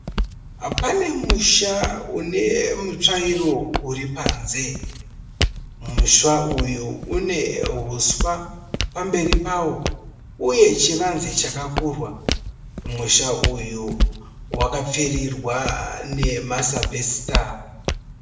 Pane musha une mutsvairo uripanze. Musha uyu une huswa pamberi pawo uye chivanze chakakurwa. Musha uyu wakapfirirwa nema sabhesita.